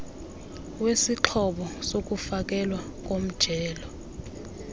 wesixhobo sokufakelwa komjelo